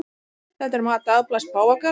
Þetta er mat dagblaðs páfagarðs